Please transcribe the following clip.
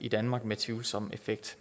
i danmark med tvivlsom effekt